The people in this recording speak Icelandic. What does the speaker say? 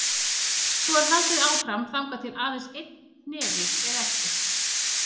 Svo er haldið áfram þangað til aðeins einn hnefi er eftir.